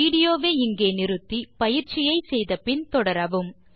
video வை நிறுத்தி பயிற்சியை முடித்த பின் தொடரவும்